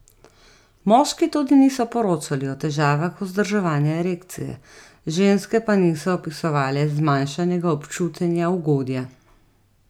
Moški tudi niso poročali o težavah vzdrževanja erekcije, ženske pa niso opisovale zmanjšanega občutenja ugodja.